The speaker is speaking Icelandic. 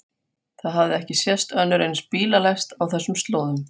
Það hafði ekki sést önnur eins bílalest á þessum slóðum.